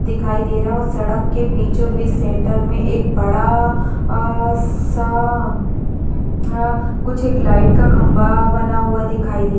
दिखाई दे रहा है और सड़क के बीचों बीच सेंटर में एक बड़ा अ-सा हाँ कुछ एक लाइट का खंबा बना हुआ दिखाई दे --